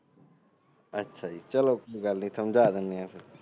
ਅੱਛਾ ਜੀ ਚਲੋ ਕੋਈ ਗੱਲ ਨੀ ਸਮਝਾ ਦਿੰਦੇ ਆ